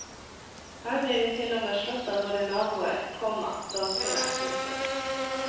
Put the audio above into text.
Her blir vi til og med slått av våre naboer, komma danskene. punktum